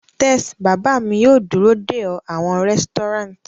Tes, baba mi yoo duro de ọ awọn resturant